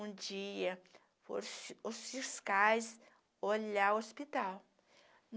Um dia, foram os fiscais olharam o hospital.